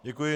Děkuji.